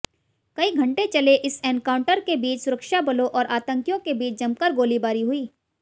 कई घंटे चले इस एन्काउंटर के बीच सुरक्षाबलों और आतंकियों के बीच जमकर गोलीबारी हुई